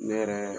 Ne yɛrɛ